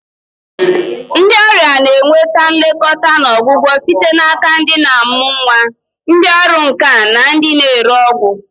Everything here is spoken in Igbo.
Ndị ọrịa na-enweta nlekọta na ọgwụgwọ site n'aka ndị na-amụ nwa, ndị ọrụ nka na ndị na-ere ọgwụ.